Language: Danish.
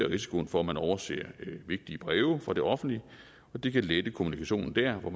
risikoen for at man overser vigtige breve fra det offentlige og det kan lette kommunikationen der hvor